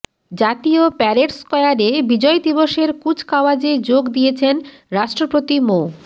জাতীয় প্যারেড স্কয়ারে বিজয় দিবসের কুচকাওয়াজে যোগ দিয়েছেন রাষ্ট্রপতি মো